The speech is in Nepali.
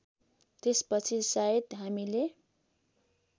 त्यसपछि सायद हामीले